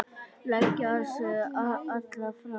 Leggja sig alla fram.